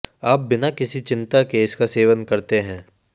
आप बिना किसी चिंता के इसका सेवन करते हैं